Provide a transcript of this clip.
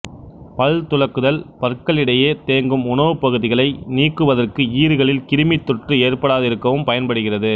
பல் துலக்குதல் பற்களிடையே தேங்கும் உணவுப் பகுதிகளை நீக்குவதற்கும் ஈறுகளில் கிருமித் தொற்று ஏற்படாதிருக்கவும் பயன்படுகிறது